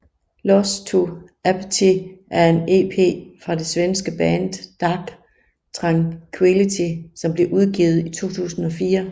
Lost to Apathy er en EP fra det svenske band Dark Tranquillity som blev udgivet i 2004